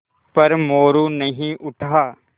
पर मोरू नहीं उठा